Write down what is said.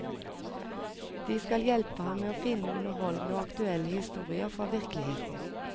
De skal hjelpe ham med å finne underholdende og aktuelle historier fra virkeligheten.